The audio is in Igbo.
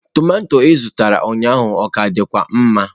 Tọmatọ ị zụtara ụnyaahụ ọ ka dịkwa mma?